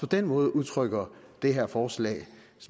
den måde udtrykker det her forslag